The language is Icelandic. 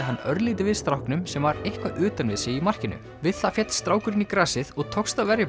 hann örlítið við stráknum sem var eitthvað utan við sig í markinu við það féll strákurinn í grasið og tókst að verja